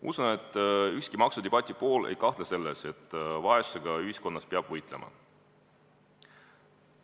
Usun, et ükski maksudebati osaline ei kahtle selles, et vaesusega ühiskonnas peab võitlema.